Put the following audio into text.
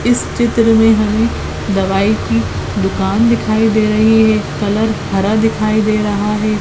इस चित्र मे हमे दवाई की दुकान दिखाई दे रही है कलर हरा दिखाई दे रहा है।